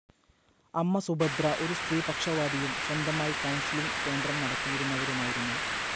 അമ്മ സുഭദ്ര ഒരു സ്ത്രീപക്ഷവാദിയും സ്വന്തമായി കൌൺസിലിംഗ്‌ കേന്ദ്രം നടത്തിയിരുന്നവരുമായിരുന്നു.